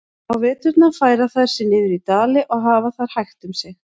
Á veturna færa þær sig niður í dali og hafa þar hægt um sig.